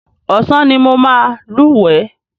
Ọ̀sán ni mo máa lúwẹ̀ẹ́.